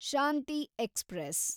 Shanti express